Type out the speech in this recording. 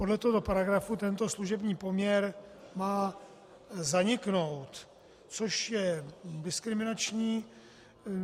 Podle tohoto paragrafu tento služební poměr má zaniknout, což je diskriminační.